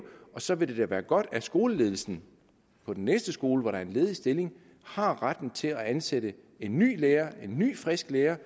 og så vil det da være godt at skoleledelsen på den næste skole hvor der er en ledig stilling har retten til at ansætte en ny lærer en ny frisk lærer